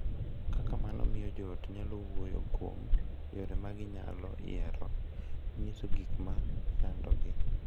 Kaka mano miyo joot nyalo wuoyo kuom yore ma ginyalo yiero, nyiso gik ma chandogi,